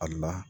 Ali